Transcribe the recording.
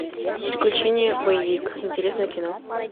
приключения боевик интересное кино